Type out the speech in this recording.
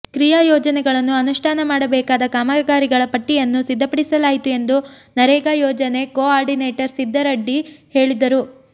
ಕ್ರಿಯಾ ಯೋಜನೆಗಳನ್ನು ಅನುಷ್ಠಾನ ಮಾಡಬೇಕಾದ ಕಾಮಗಾರಿಗಳ ಪಟ್ಟಿಯನ್ನು ಸಿದ್ದಪಡಿಸಲಾಯಿತು ಎಂದು ನರೇಗಾ ಯೋಜನೆ ಕೋ ಆರ್ಡಿನೇಟರ್ ಸಿದ್ಧರಡ್ಡಿ ಹೇಳಿದರು